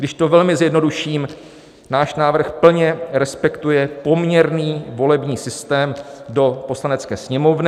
Když to velmi zjednoduším, náš návrh plně respektuje poměrný volební systém do Poslanecké sněmovny.